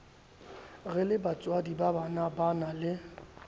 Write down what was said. re lebatswadi ba banabana le